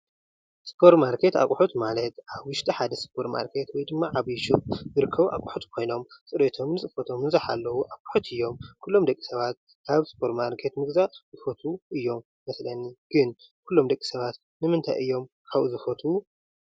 ሱፖር ማርኬት ኣቁሑት ማለት ኣብ ውሽጢ ሓደ ሱፖር ማርኬት ወይ ድማ ዓብይ ሹቅ ዝርከቡ ኣቅሑት ኮይኖም ፅርየቶም ፅፎቶም ዝሓለው ኣቁሑት እዮም። ኩሎም ደቂ ሰባት ኣብ ሱፖር ማርኬት ምግዛእ ይፈትው እዮም። ይመስለኒ ግን ኩሎም ደቂ ሰባት ንምንታይ እዮም ኣብኡ ዝፍትው?